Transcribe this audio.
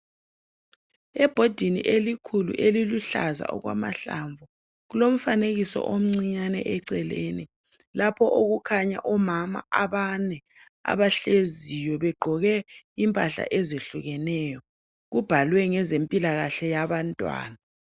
Ebhodini elikhulu eliluhlaza okwamahlamvu kulomfanekiso omncinyane eceleni lapho okukhanya omama abane abahleziyo begqoke impahla ezehlukeneyo. Kubhalwe ngezempilakahle yabantwana.